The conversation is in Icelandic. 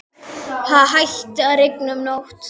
Það hætti að rigna um nóttina.